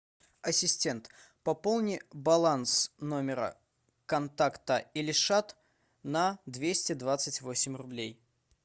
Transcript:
ассистент пополни баланс номера контакта ильшат на двести двадцать восемь рублей